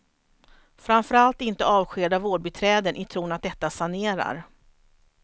Framför allt inte avskeda vårdbiträden i tron att detta sanerar.